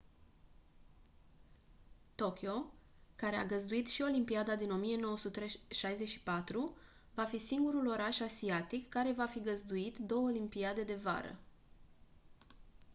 tokyo care a găzduit și olimpiada din 1964 va fi singurul oraș asiatic care va fi găzduit două olimpiade de vară